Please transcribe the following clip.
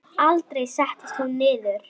Aldrei settist hún niður.